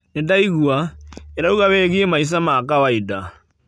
Nĩndaigua, ĩrauga wĩgie maica ma kawaida.